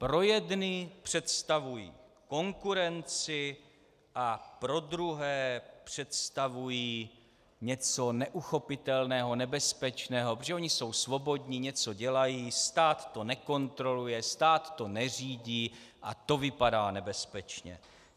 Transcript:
Pro jedny představují konkurenci a pro druhé představují něco neuchopitelného, nebezpečného, protože oni jsou svobodní, něco dělají, stát to nekontroluje, stát to neřídí a to vypadá nebezpečně.